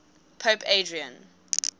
pope adrian